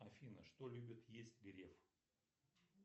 афина что любит есть греф